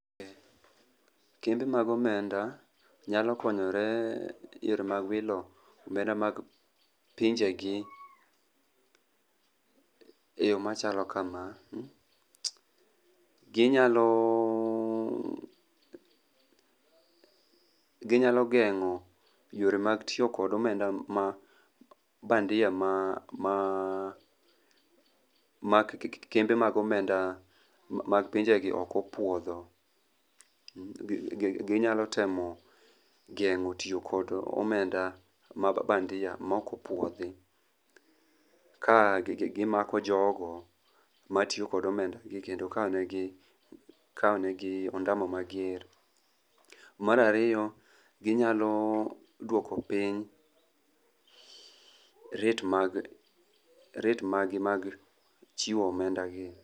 kembe mag omenda nyalokonyore e yore mag wilo omenda mag pinjegi e yoo machalo kamagi, ginyalo geng'o yore mag tiyo kod omenda ma bandia ma kembe mag omenda mapinjegi okopuodho, ginyalo temo gengo tiyo kod omenda mabandia mokopuodhi ka gimako jogo matiyo kod omenda gi kendo kawo negi ondamo mager. Marariyo ginyalo duoko piny rate maggi mag chiwo omenda gi.